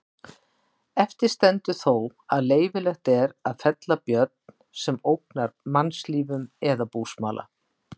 Eftir stendur þó að leyfilegt er að fella björn sem ógnar mannslífum eða búsmala.